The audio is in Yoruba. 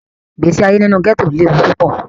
Igbesi aye ninu gẹto lewu pupọ.